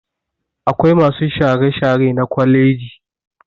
Akwai masu share-share na kwaleji